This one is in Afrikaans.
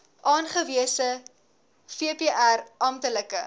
aangewese vpr amptelike